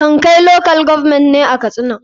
kankai local government ne a katsina.